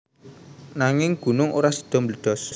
Nanging gunung ora sida mbledos